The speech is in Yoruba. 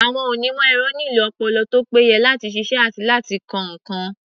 Àwọn onímọ̀-ẹ̀rọ nílò ọpọlọ tó péye láti ṣiṣẹ́ àti láti kọ́ nǹkan.